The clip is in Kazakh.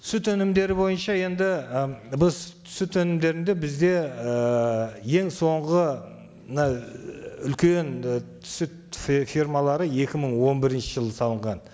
сүт өнімдері бойынша енді і біз сүт өнімдерін де бізде ыыы ең соңғы мына і үлкен і сүт фермалары екі мың он бірінші жылы салынған